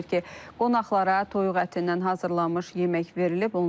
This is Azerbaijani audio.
Bildirilir ki, qonaqlara toyuq ətindən hazırlanmış yemək verilib.